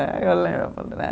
Eh eu lembro né.